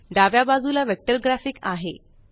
डाव्या बाजूला vector graphic आहे